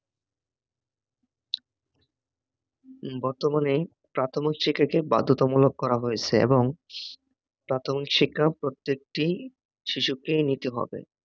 বর্তমানে প্রাথমিক শিক্ষাকে বাধ্যতামূলক করা হয়েছে এবং প্রাথমিক শিক্ষা প্রত্যেকটি শিশুকে নিতে হবে